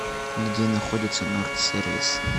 где находится норд сервис